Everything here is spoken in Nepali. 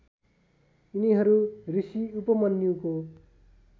यिनीहरू ऋषि उपमन्युको